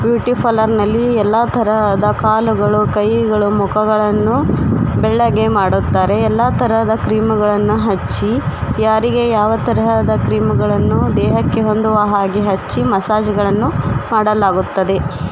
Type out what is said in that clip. Beauty parlour ನಲ್ಲಿ ಎಲ್ಲಾ ತರಹದ ಕಾಲುಗಳು ಕೈಗಳು ಮುಖಗಳನ್ನು ಬೆಳ್ಳಗೆ ಮಾಡುತ್ತಾರೆ ಎಲ್ಲಾ ತರಹದ ಕ್ರೀಮ್ ಗಳನ್ನ ಹಚ್ಚಿ ಯಾರಿಗೆ ಯಾವ ತರಹದ ಕ್ರೀಮ್ ಗಳನ್ನು ದೇಹಕ್ಕೆ ಹೊಂದುವ ಹಾಗೆ ಹಚ್ಚಿ ಮಸಾಜ್ ಗಳನ್ನು ಮಾಡಲಾಗುತ್ತದೆ.